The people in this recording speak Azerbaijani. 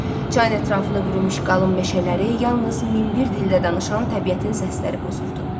Çayın ətrafını bürümüş qalın meşələri yalnız min bir dildə danışan təbiətin səsləri pozurdu.